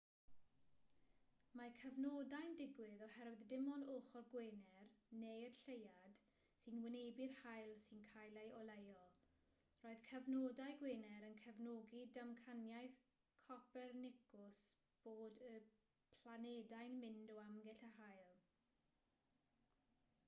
mae cyfnodau'n digwydd oherwydd dim ond ochr gwener neu'r lleuad sy'n wynebu'r haul sy'n cael ei oleuo. roedd cyfnodau gwener yn cefnogi damcaniaeth copernicws bod y planedau'n mynd o amgylch yr haul